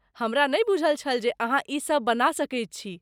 हमरा नहि बूझल छल जे अहाँ ई सभ बना सकैत छी।